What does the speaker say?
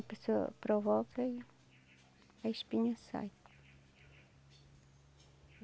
A pessoa provoca e a espinha sai.